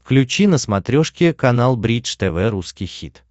включи на смотрешке канал бридж тв русский хит